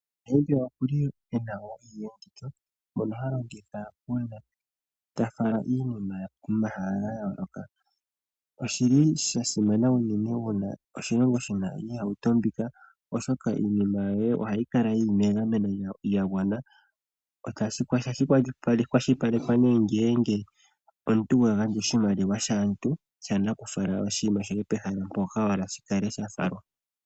Namibia okuli ena wo iiyenditho mono halongitha una ta fala iinima komahala gayo loka. Oshili sha simana unene una oshilongo shina iihauto mbika oshoka iinima yoye ohayi kala yili megameno lya gwana, otashi kwashilipaleke ne ngele omuntu wa gandja oshimaliwa shaantu shana kufala oshinima shoye pehala mpoka wahala shikale sha falwa.